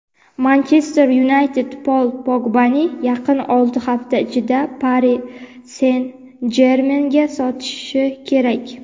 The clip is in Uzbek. "Manchester Yunayted" Pol Pogbani yaqin olti hafta ichida "Pari Sen-Jermen"ga sotishi kerak.